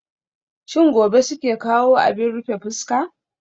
Shin gobe suke kawo abin rufe fuska?